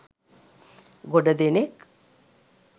ගොඩ දෙනෙක්